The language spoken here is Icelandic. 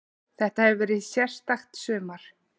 Þetta hefur verið sérstakt sumar.